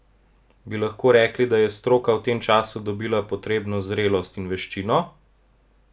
Bi lahko rekli, da je stroka v tem času dobila potrebno zrelost in veščino?